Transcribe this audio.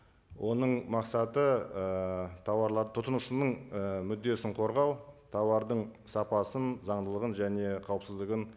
оның мақсаты ыыы тауарлар тұтынушының ы мүддесін қорғау тауардың сапасын заңдылығын және қауіпсіздігін